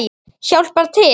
Hjálpar til.